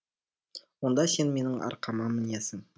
онда сен менің арқама мінесің